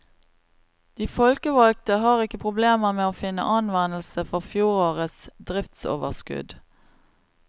De folkevalgte har ikke problemer med å finne anvendelse for fjorårets driftsoverskudd.